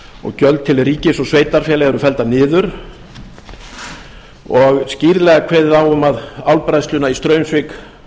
og gjöld til ríkis og sveitarfélaga eru felldar niður og skýrlega kveðið á um að álbræðsluna í straumsvík